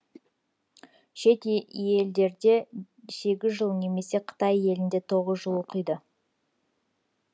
шет елдерде сегіз жыл немесе қытай елінде тоғыз жыл оқиды